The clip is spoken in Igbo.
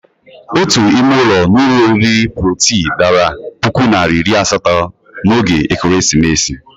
Ótù ime ụlọ n'ụlọ oriri Protii dara puku naira iri asatọ n'oge Ekeresimesi.